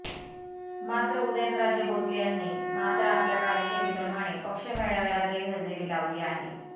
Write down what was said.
मात्र उदयनराजे भोसले यांनी मात्र आपल्या कार्यशैली प्रमाणे पक्ष मेळाव्याला गैरहजेरी लावली आहे